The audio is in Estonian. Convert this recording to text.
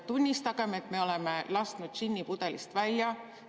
Tunnistagem, et me oleme lasknud džinni pudelist välja.